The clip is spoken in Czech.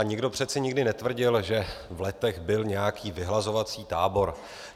A nikdo přece nikdy netvrdil, že v Letech byl nějaký vyhlazovací tábor.